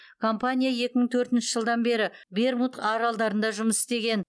компания екі мың төртінші жылдан бері бермуд аралдарында жұмыс істеген